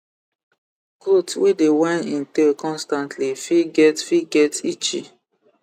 goat wey dey whine in tail constantly fit get fit get itchy